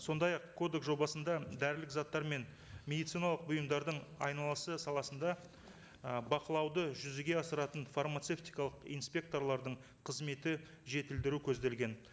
сондай ақ кодекс жобасында дәрілік заттар мен медициналық бұйымдардың айналысы саласында ы бақылауды жүзеге асыратын фармацевтикалық инспекторлардың қызметін жетілдіру көзделген